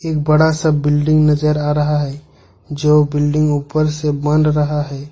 एक बड़ा सा बिल्डिंग नजर आ रहा है जो बिल्डिंग ऊपर से बन रहा है।